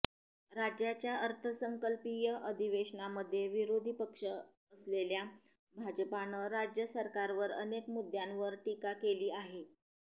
राज्याच्या अर्थसंकल्पीय अधिवेशनामध्ये विरोधी पक्ष असलेल्या भाजपानं राज्य सरकारवर अनेक मुद्द्यांवर टीका केली आहे